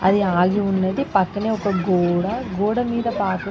అది ఆగి ఉన్నది. పక్కనే ఒక గోడ.గోడ మీద పాకు--